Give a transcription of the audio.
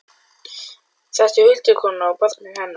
Þetta eru huldukonan og barnið hennar!